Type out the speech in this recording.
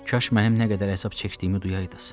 Kaş mənim nə qədər əzab çəkdiyimi duyaydınız.